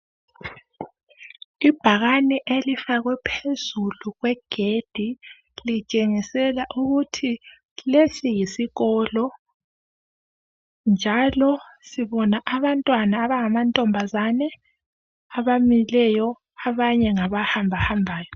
ibhakane elifakwe phezulu kwegedi litshengisela ukuthi lesi yisikolo njalo sibona abantwana abanga mantombazane abamileyo abanye ngabahambahambayo